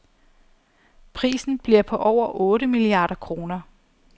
Prisen bliver på over otte milliarder kroner.